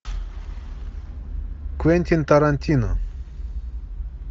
квентин тарантино